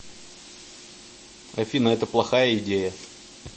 афина это плохая идея